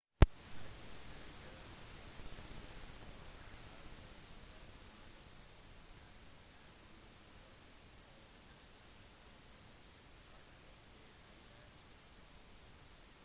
agnostikeren chambers hevder søksmålet hans er useriøst og «at alle nå kan saksøke alle»